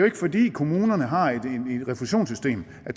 ikke fordi kommunerne har et refusionssystem at